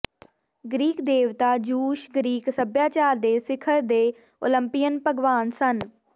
Greek ਦੇਵਤਾ Zeus Greek ਸਭਿਆਚਾਰ ਦੇ ਸਿਖਰ ਦੇ ਓਲੰਪਿਅਨ ਭਗਵਾਨ ਸਨ